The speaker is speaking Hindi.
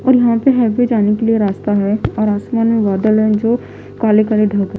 और यहां पे हाईवे जाने के लिए रास्ता है और आसमान में बादल हैं जो काले काले का--